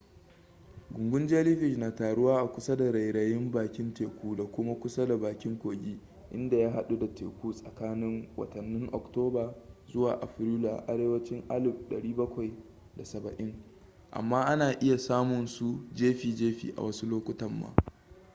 gungun jellyfish na taruwa a kusa da rairayin bakin teku da kuma kusa da bakin kogi inda ya hadu da teku tsakanin watannin oktoba zuwa afrilu a arewacin 1770 amma ana iya samunsu jefi jefi a wasu lokutan ma